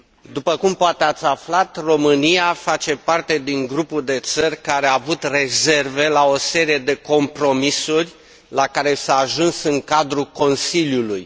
După cum poate ați aflat, România face parte din grupul de țări care a avut rezerve la o serie de compromisuri la care s a ajuns în cadrul Consiliului.